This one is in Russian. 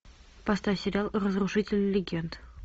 поставь сериал разрушители легенд